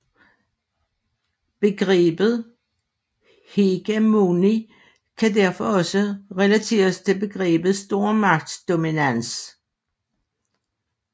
Begrebet hegemoni kan derfor også relateres til begrebet stormagtsdominans